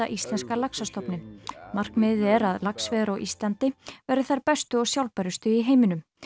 íslenska laxastofninn markmiðið er að laxveiðar á Íslandi verði þær bestu og sjálfbærustu í heiminum